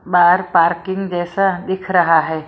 बार parking जैसा दिख रहा है।